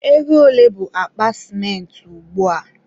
ego ole bụ akpa sịmentị ugbua?